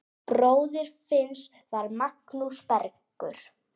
Bróðir Finns var Magnús Bergur.